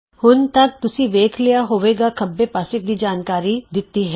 ਹੁਣ ਤਕ ਤੁਸੀਂ ਵੇਖ ਲਿਆ ਹੋਵੇਗਾ ਖੱਬੇ ਪਾਸੇ ਕੀ ਜਾਣਕਾਰੀ ਦਿੱਤੀ ਹੈ